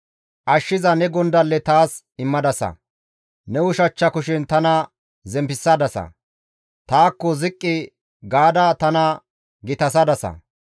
Ashshiza ne gondalle taas immadasa. Ne ushachcha kushen tana zemppisadasa; taakko ziqqi gaada tana gitasadasa.